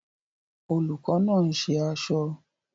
Olùkọ́ náà ń ṣe aṣọ